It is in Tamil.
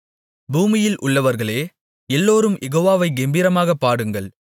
பூமியில் உள்ளவர்களே எல்லோரும் யெகோவாவைக் கெம்பீரமாகப் பாடுங்கள்